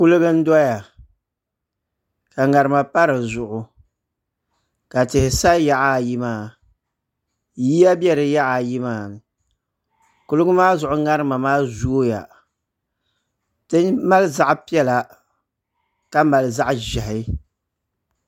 Kuliga n doya ka ŋarima pa di zuɣu ka tihi sa yaɣa ayi maa yiya bɛ di yaɣa ayi maa kuliga maa zuŋu ŋarima maa zooya ti mali zaɣ piɛla ka mali zaɣ ʒiɛhi